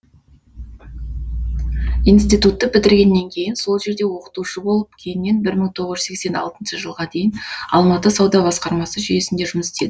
институтты бітіргеннен кейін сол жерде оқытушы болып кейіннен бір мың то ыз жүз сексен алтыншы жылға дейін алматы сауда басқармасы жүйесінде жұмыс істеді